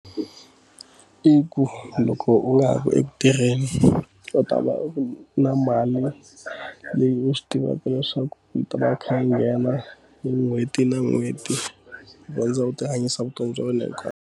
I ku loko u nga ha ku eku tirheni u ta va u na mali leyi u swi tivaka leswaku yi ta va yi kha yi nghena hi n'hweti na n'hweti u dyondza u ti hanyisa vutomi bya wena hikwabyo.